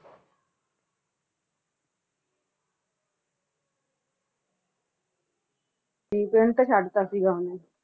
ਜੀ ਪਿੰਡ ਤੇ ਸਾਡੀ ਦਿੱਤਾ ਸੀ ਉਸਨੇ